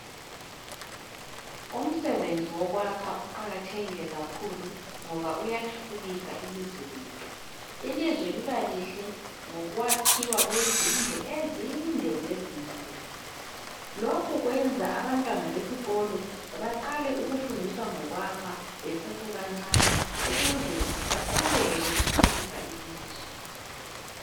Umsebenzi wokwakha uqakathekile kakhulu ngoba uyathuthukisa ilizwe lethu ilizwe libalihle ngokwakhiwa kwezindlu ezinde lezinkulu lokhu kwenza abantwana besikolo baqale ukufundiswa ngokwakha besase bancane ukuze baqhubeke bethuthukisa ilizwe